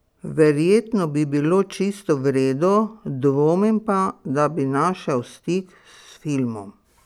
Verjetno bi bilo čisto v redu, dvomim pa, da bi našel stik s filmom.